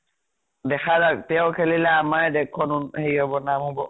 দেখা যাক। তেওঁ খেলিলে আমাৰে দেশ খন উন হেৰি হব নাম হব।